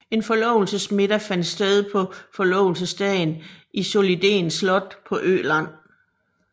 En forlovelsesmiddag fandt sted på forlovelsesdagen i Solliden Slot på Öland